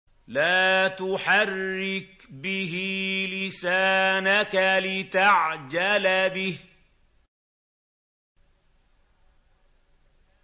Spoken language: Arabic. لَا تُحَرِّكْ بِهِ لِسَانَكَ لِتَعْجَلَ بِهِ